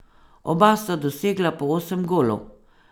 Oba sta dosegla po osem golov.